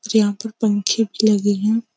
यहाँ पर पंखे भी लगे हैं।